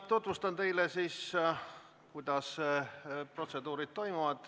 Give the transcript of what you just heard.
Tutvustan teile, kuidas see protseduur toimub.